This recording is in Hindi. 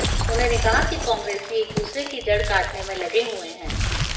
उन्होंने कहा कि कांग्रेसी एक दूसरे की जड़ काटने में लगे हुए हैं